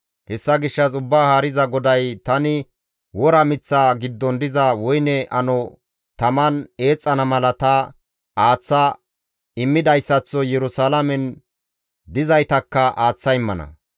«Hessa gishshas Ubbaa Haariza GODAY, ‹Tani wora miththa giddon diza woyne ano taman eexxana mala ta aaththa immidayssaththo Yerusalaamen dizaytakka aaththa immana.